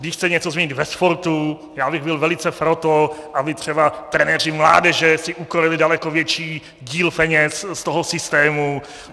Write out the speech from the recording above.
Když chce něco změnit ve sportu, já bych byl velice pro to, aby třeba trenéři mládeže si ukrojili daleko větší díl peněz z toho systému.